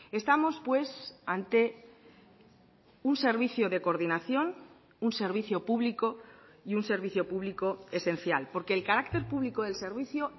estamos pues ante un servicio de coordinación un servicio público y un servicio público esencial porque el carácter público del servicio